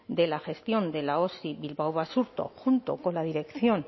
de la gestión de la osi bilbao basurto junto con la dirección